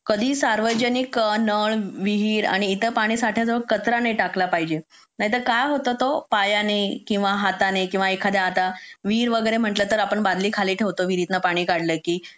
कधी सार्वजनिक नळ विहीर आणि इतर साठ्याजवळ कचरा नाही टाकला पाहिजे नाहीतर काय होतं तो पायाने किंवा हाताने किंवा एखाद्या आता विहीर वगैरे म्हणलं तर आपण बादली खाली ठेवतो विहिरीत न पाणी काढलं की